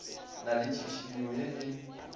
na le tšhišinyo ye e